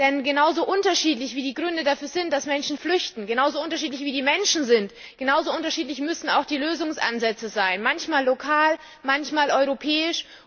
Denn genau so unterschiedlich, wie die Gründe dafür sind, dass Menschen flüchten, genauso unterschiedlich, wie die Menschen sind, genauso unterschiedlich müssen auch die Lösungsansätze sein manchmal lokal, manchmal europäisch.